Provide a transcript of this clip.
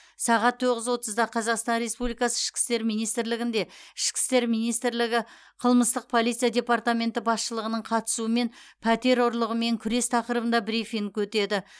сағат тоғыз отызда қазақстан республикасы ішкі істер министрлігінде ішкі істер министрлігі қылмыстық полиция департаменті басшылығының қатысуымен пәтер ұрлығымен күрес тақырыбында брифинг өтеді